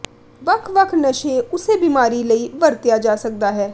ਵੱਖ ਵੱਖ ਨਸ਼ੇ ਉਸੇ ਬੀਮਾਰੀ ਲਈ ਵਰਤਿਆ ਜਾ ਸਕਦਾ ਹੈ